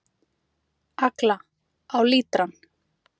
Agla: Á lítrann.